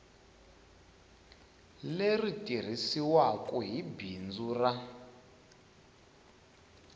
leri tirhisiwaku hi bindzu ra